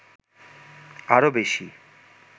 আরো বেশি